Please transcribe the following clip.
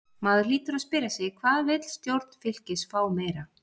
Maður hlýtur að spyrja sig: Hvað vill stjórn Fylkis fá meira?